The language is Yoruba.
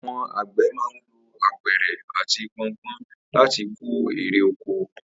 Àwo̩n àgbè̩ máa ń lo apè̩rè àti po̩npó̩n láti kó erè oko